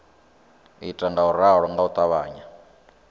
ita ngauralo nga u ṱavhanya